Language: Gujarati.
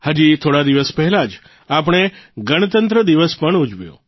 હજી થોડા દિવસ પહેલાં જ આપણે ગણતંત્ર દિવસ પણ ઉજવ્યો